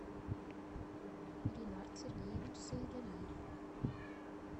ринард сергеевич саидалиев